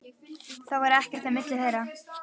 Það er ekkert á milli þeirra.